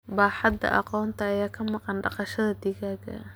Baaxadda aqoonta ayaa ka maqan dhaqashada digaagga.